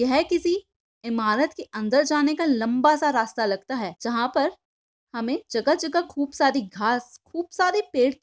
यह किसी इमारत के अंदर जानेका लंबासा रास्ता लगता है। जहा पर हमें जगह-जगह खूप सारी घास खूप सारे पेड़--